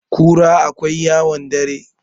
kura akwai yawon dare